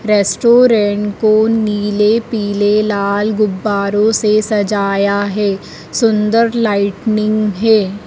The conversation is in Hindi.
रेस्टोरेंट को नीले पीले लाल गुब्बारों से सजाया है सुंदर लाइटनिंग है।